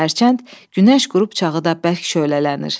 Hərçənd gün qrup çağı da bərk şöhlələnir.